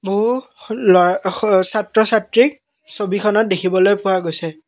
বহু লআ স ছাত্ৰ ছাত্ৰীক ছবিখনত দেখিবলৈ পোৱা গৈছে।